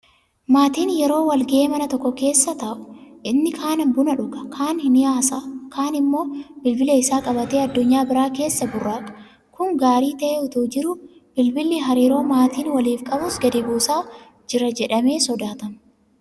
Maatiin yeroo walga'ee mana tokko keessa taa'u; inni kaan buna dhuga, kaan nihaasa'a, kaan immoo bilbila isaa qabatee addunyaa biraa keessaa burraaqa. Kun gaarii ta'ee itoo jiruu bilbilli hariiroo maatiin waliif qabus gadi buusaa jira jedhamee sodaatama.